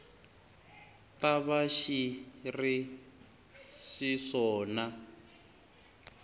ta va xi ri xiswona